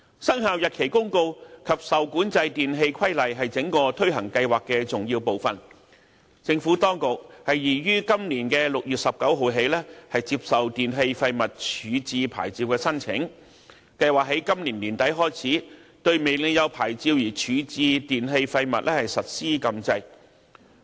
《生效日期公告》及《受管制電器規例》是整個推行計劃的重要部分，政府當局擬於今年6月19日起接受電器廢物處置牌照的申請，並計劃在今年年底開始，對未領有牌照而處置電器廢物實施禁制。